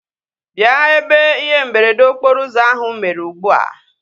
Bịa ebe ihe mberede okporo ụzọ ahu mere ugbua!